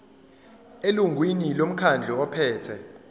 elungwini lomkhandlu ophethe